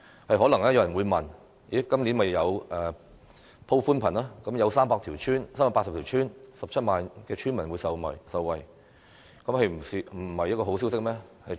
可能有人會問，政府今年已宣布鋪設寬頻，有380條村、17萬名村民受惠，難道不是好消息嗎？